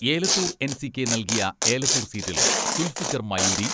Elathur NCK നൽകിയ ഏലത്തൂർ സീറ്റിൽ സുൽഫിക്കർ മയൂരി